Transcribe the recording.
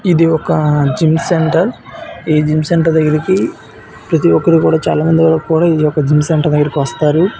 ఇది ఒక gym centre ఈ జిమ్ సెంటర్ దగ్గరికి ప్రతి ఒక్కరు కూడా చాలామంది వస్తారు ఈ యొక్క జిమ్ సెంటర్ దగ్గరికి వస్తారు.